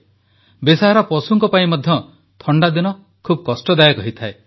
ବେସାହାରା ପଶୁଙ୍କ ପାଇଁ ମଧ୍ୟ ଥଣ୍ଡାଦିନ ବହୁତ କଷ୍ଟଦାୟକ ହୋଇଥାଏ